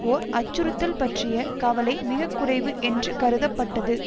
ஓர் அச்சுறுத்தல் பற்றிய கவலை மிக குறைவு என்று கருதப்பட்டது